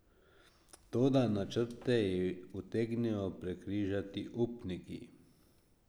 Toda načrte ji utegnejo prekrižati upniki.